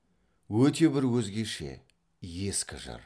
өте бір өзгеше ескі жыр